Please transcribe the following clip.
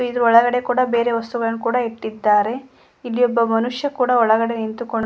ಇಲ್ಲಿ ಒಳಗಡೆ ಕೂಡ ಬೇರೆ ವಸ್ತುಗಳನ್ನ ಕೂಡ ಇಟ್ಟಿದ್ದಾರೆ ಇಲ್ಲಿ ಒಬ್ಬ ಮನುಷ್ಯ ಕೂಡ ಒಳಗಡೆ ನಿಂತುಕೊ --